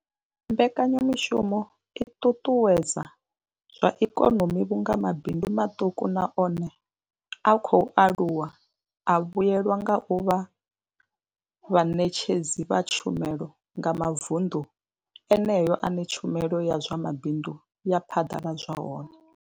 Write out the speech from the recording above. Mbekanyamushumo i ṱuṱuwedza zwa ikonomi vhunga mabindu maṱuku na one a khou aluwa a vhuelwa nga u vha vhaṋetshedzi vha tshumelo nga mavunḓu eneyo ane tshumelo ya zwa mabindu ya phaḓaladzwa hone.